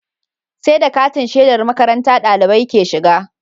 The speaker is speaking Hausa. Sai da katin shedar makarantar ɗalibai ke shiga